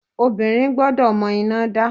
Obìnrin gbọ́dọ̀ mọ iná dá.